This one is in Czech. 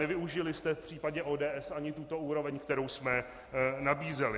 Nevyužili jste v případě ODS ani tuto úroveň, kterou jsme nabízeli.